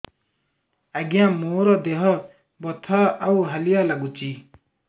ଆଜ୍ଞା ମୋର ଦେହ ବଥା ଆଉ ହାଲିଆ ଲାଗୁଚି